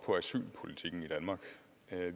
at det